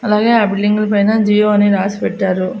అలాగే ఆ బిల్డింగుల పైన జియో అని రాసి పెట్టారు.